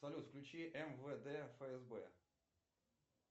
салют включи мвд фсб